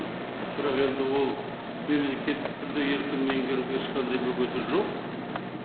бірақ енді ол мемлекеттік тілді еркін меңгеруге ешқандай бөгеті жоқ